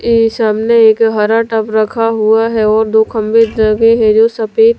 ये सामने एक हरा टब रखा हुआ है और दो खंबे लगे हैं जो सफेद--